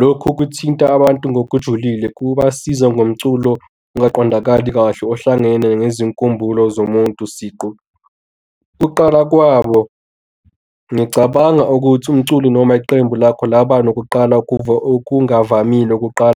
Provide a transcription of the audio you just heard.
Lokhu kuthinta abantu ngokujulile kubasiza ngomculo ongaqondakali kahle ohlangene nezinkumbulo zomuntu siqu. Kuqala kwabo ngicabanga ukuthi umculi noma iqembu lakho laba nokuqala okungavamile wokuqala.